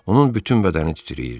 Onun bütün bədəni titrəyirdi.